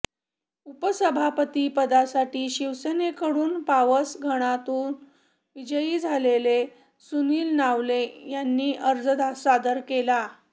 उपसभापती पदासाठी शिवसेनेकंडून पावस गणातून विजयी झालेले सुनिल नावले यांनी अर्ज सादर केला